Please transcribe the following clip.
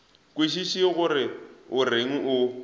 kwešiše gore o reng o